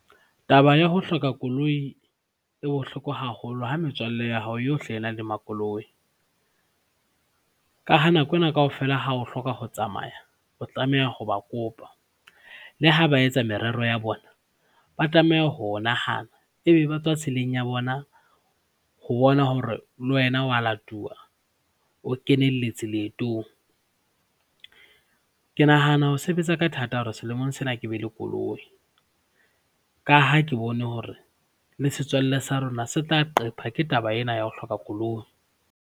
Taba ya ho hloka koloi e bohloko haholo ha metswalle ya hao yohle e na le makoloi ka ha nako ena kaofela ha o hloka ho tsamaya o tlameha ho ba kopa. Le ha ba etsa merero ya bona, ba tlameha ho o nahana ebe ba tswa tseleng ya bona ho bona hore le wena wa latuwa, o kenelletse leetong. Ke nahana ho sebetsa ka thata hore selemong sena ke be le koloi ka ha ke bone hore le setswalle sa rona se tla qetwa ke taba ena ya ho hloka koloi.